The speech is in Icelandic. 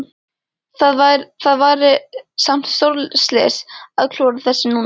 Það væri samt stórslys að klúðra þessu núna?